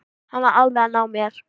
Hann var alveg að ná mér